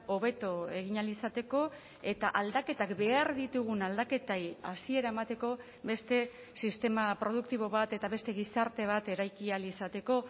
hobeto egin ahal izateko eta aldaketak behar ditugun aldaketei hasiera emateko beste sistema produktibo bat eta beste gizarte bat eraiki ahal izateko